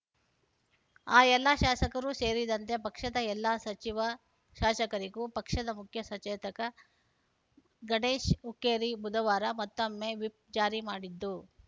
ಆ ಎಲ್ಲಾ ಶಾಸಕರೂ ಸೇರಿದಂತೆ ಪಕ್ಷದ ಎಲ್ಲ ಸಚಿವ ಶಾಸಕರಿಗೂ ಪಕ್ಷದ ಮುಖ್ಯಸಚೇತಕ ಗಣೇಶ್‌ ಹುಕ್ಕೇರಿ ಬುಧವಾರ ಮತ್ತೊಮ್ಮೆ ವಿಪ್‌ ಜಾರಿ ಮಾಡಿದ್ದು